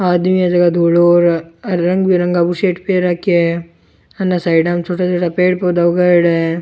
आदमी है जका धोलो और रंग बिरंगा बुसेट पहर राख्या है अने साइडा में छोटा छोटा पेड़ पौधा उगाईड़ा है।